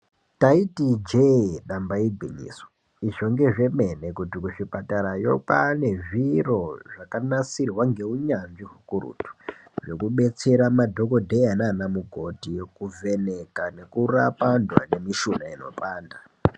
Ndaiti ijee damba igwinyiso izvo ngezvemene kuti kuzvipatarayo kwane zviro zvakanasirwa ngeunyanzvi hwekuretu hwekubetsera madhokodheya nanamukoti kuvheneka nekurapa antu ane mishuna inopanda .